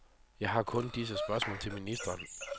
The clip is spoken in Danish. Jeg har kun disse spørgsmål til ministeren.